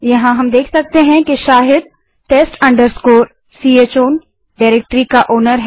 यहाँ हम देख सकते हैं कि शाहिद test chown डाइरेक्टरी का मालिकओनर है